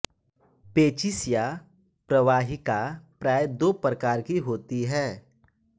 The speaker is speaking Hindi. पेचिश या प्रवाहिका प्राय दो प्रकार की होती है